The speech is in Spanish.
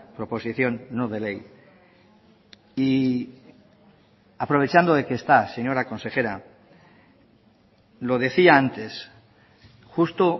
proposición no de ley y aprovechando de que está señora consejera lo decía antes justo